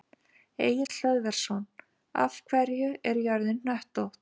Egill Hlöðversson: Af hverju er jörðin hnöttótt?